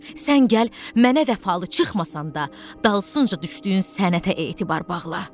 Sən gəl mənə vəfalı çıxmasan da, dalısınca düşdüyün sənətə etibar bağla.